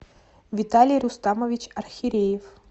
виталий рустамович архиреев